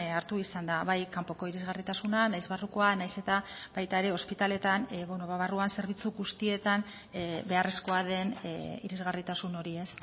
hartu izan da bai kanpoko irisgarritasuna nahiz barrukoa nahiz eta baita ere ospitaletan barruan zerbitzu guztietan beharrezkoa den irisgarritasun hori ez